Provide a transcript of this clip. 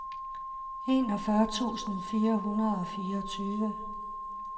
enogfyrre tusind fire hundrede og fireogtyve